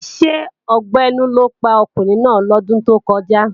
Ṣé ọgbẹ́ inú ló pa ọkùnrin náà lọ́dún tó kọjá?